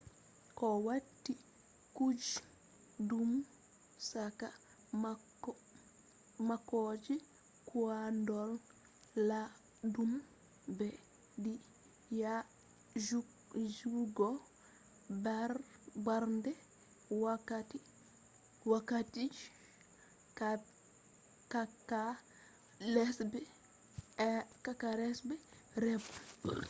ko wati kuje ndu saka mako je koiɗol laɓɗum ɓeddi yajuugo darnde wakkati je cakka lesɗe rem